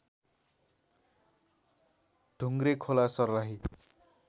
Dhungrekhola Sarlahi